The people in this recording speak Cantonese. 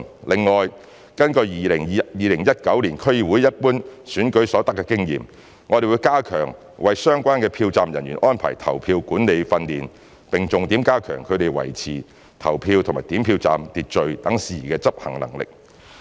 另外，根據在2019年區議會一般選舉所得的經驗，我們會加強為相關的票站人員安排投票管理訓練，並重點加強他們在維持投票及點票站的秩序等事宜的執行能力。